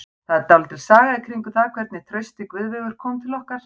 Það er dálítil saga í kringum það hvernig Trausti Guðveigur kom til okkar.